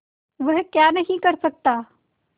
वह क्या नहीं कर सकता